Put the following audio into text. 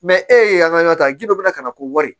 e ye an ka ɲɔ ta gindo bɛ ka na ko wari